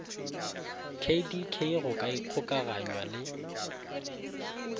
kdk go ka ikgokaganywa le